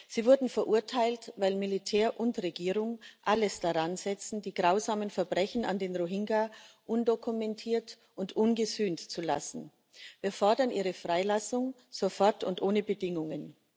Sie wurden verurteilt, weil Militär und Regierung alles daransetzen, die grausamen Verbrechen an den Rohingya undokumentiert und ungesühnt zu lassen. Wir fordern ihre Freilassung sofort und ohne Bedingungen.